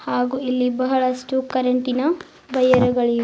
ಹಾಗು ಇಲ್ಲಿ ಬಹಳಷ್ಟು ಕರೆಂಟಿನ ವಯರ್ ಗಳಿವೆ